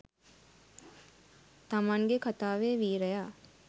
තමන්ගෙ කතාවෙ වීරයා